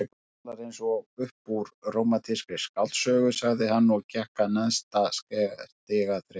Þú talar eins og upp úr rómantískri skáldsögu sagði hann og gekk að neðsta stigaþrepinu.